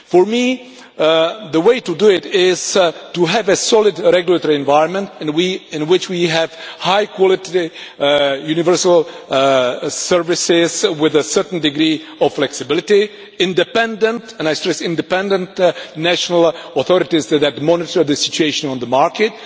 For me, the way to do this is to have a solid regulatory environment in which we have high quality universal services with a certain degree of flexibility, independent and I stress independent national authorities that monitor the situation on the market,